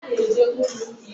onyeisi ụlọ a anyi bi anwụola